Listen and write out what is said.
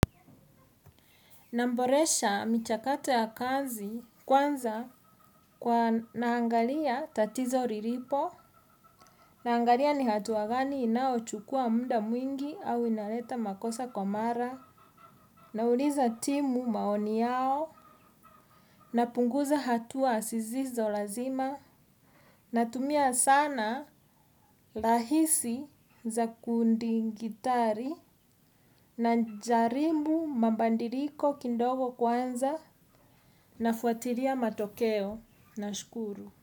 Namboresha michakato ya kazi kwanza kwa naangalia tatizo riripo, naangalia ni hatua gani inao chukua muda mwingi au inaleta makosa kwa mara, nauliza timu maoni yao, na punguza hatua sizizo lazima, na tumia sana lahisi za kundi gitari, na jarimbu mambandiriko kindogo kwanza, na fuatiria matokeo. Na oscuro.